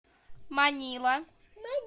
манила